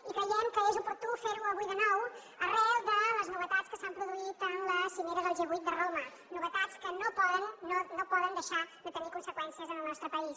i creiem que és oportú fer ho avui de nou arran de les novetats que s’han produït en la cimera del g vuit a roma novetats que no poden deixar de tenir conseqüències en el nostre país